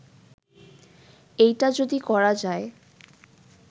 এইটা যদি করা যায়